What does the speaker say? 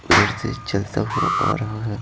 उधर से चलता हुआ आ रहा है।